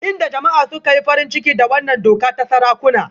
Inda jama'a suka yi farin ciki da wannan doka ta sarakuna